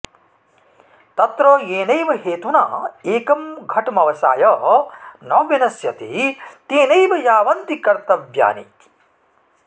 तत्र येनैव हेतुना एकं घटमवसाय न विनश्यति तेनैव यावन्ति कर्तव्यानीति